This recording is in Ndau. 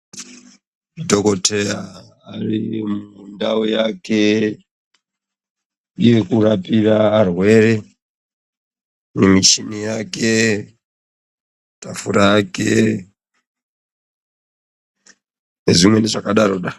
Dhokoteya ane ndau yake yekurapira varwere, nemichini yake ,tafura yake nezvimweni zvakadaro daro .